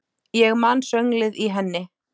Ég man sönglið í henni.